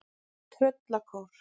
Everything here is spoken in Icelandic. Tröllakór